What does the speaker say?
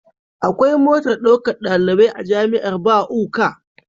Akwai motar ɗaukar ɗalibai a jamiar Buk